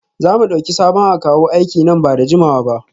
Za mu dauki sabon akawu aiki nan ba da jimawa ba?